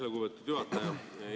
Aitäh, lugupeetud juhataja!